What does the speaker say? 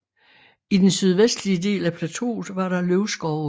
I den sydvestlige del af plateauet var der løvskove